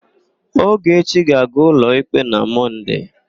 Ogechi ga-aga ụlọikpe na Mọnde.